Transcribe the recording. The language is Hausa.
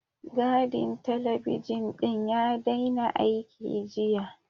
Gadin talabijin ɗin ya daina aiki, jiya.